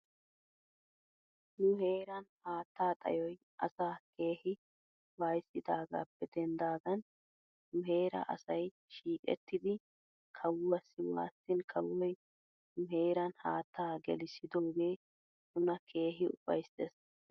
Nu heeran haatta xayoy asaa keehi waayissidaagaappe denddidaagan nu heeraa asay shiiqettidi kawuwaassi waasin kawoy nu heeran haattaa gelissidoogee nuna keehi ufayssis.